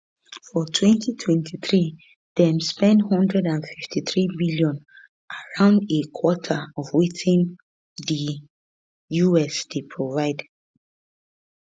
for 2023 dem spend 153bn around a quarter of wetin di us dey provide